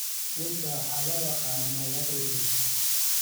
Dhirta waxaa loo yaqaan magacyo kala duwan.